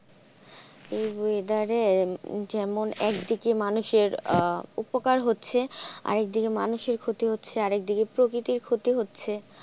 এই weather এ যেমন একদিকে মানুষের উপকার হচ্ছে আরেকদিকে মানুষের ক্ষতি হচ্ছে প্রকৃতির ক্ষতি হচ্ছে।